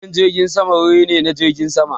Filin jirgin sama wuri ne na jiragen sama.